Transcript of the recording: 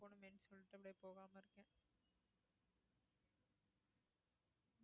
போணுமேன்னு சொல்லிட்டு அப்படியே போகாம இருக்கேன்